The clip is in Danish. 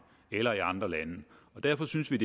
eller andre lande derfor synes vi